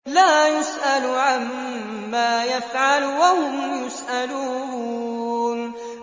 لَا يُسْأَلُ عَمَّا يَفْعَلُ وَهُمْ يُسْأَلُونَ